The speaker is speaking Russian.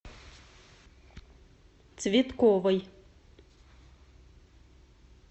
цветковой